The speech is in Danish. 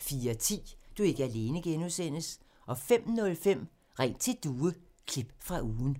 04:10: Du er ikke alene (G) 05:05: Ring til Due – klip fra ugen